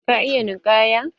Ka iya ninkaya?